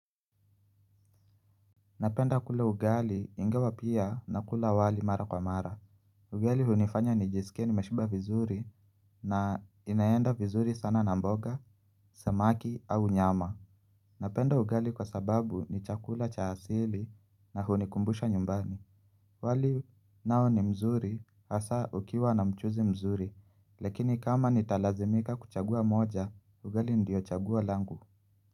Napenda kule ugali ingawa pia na kula wali mara kwa mara. Ugali hunifanya nijisike nimeshiba vizuri na inaenda vizuri sana na mboga, samaki au nyama. Napenda ugali kwa sababu ni chakula cha hasili na hunikumbusha nyumbani. Wali nao ni mzuri hasa ukiwa na mchuzi mzuri. Lekini kama nitalazimika kuchagua moja, ugali ndio chagua langu.